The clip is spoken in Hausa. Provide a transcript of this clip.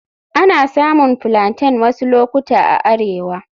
Ana samun Plaintain wasu lokuta a arewa.